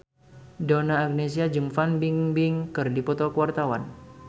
Donna Agnesia jeung Fan Bingbing keur dipoto ku wartawan